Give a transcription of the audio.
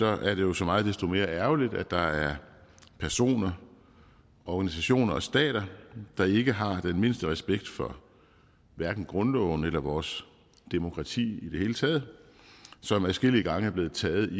er det jo så meget desto mere ærgerligt at der er personer organisationer og stater der ikke har den mindste respekt for grundloven eller vores demokrati i det hele taget og som adskillige gange er blevet taget i